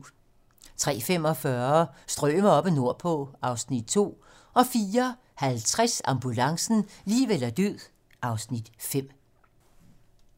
03:45: Strømer oppe nordpå (Afs. 2) 04:50: Ambulancen - liv eller død (Afs. 5)